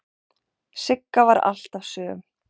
Sigga var alltaf söm.